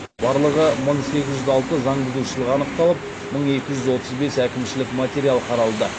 барлығы мың сегіз жүз алты заңбұзушылық анықталып мың екі жүз отыз бес әкімшілік материал қаралды